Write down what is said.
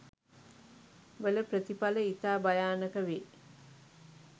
වල ප්‍රථිපල ඉතා භයානක වේ.